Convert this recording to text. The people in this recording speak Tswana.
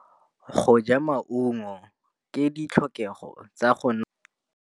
Go ja maungo ke ditlhokegô tsa go nontsha mmele.